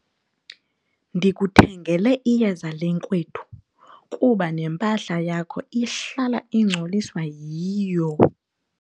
Ndikuthengele iyeza lenkwethu kuba nempahla yakho ihlala ingcoliswa yiyo..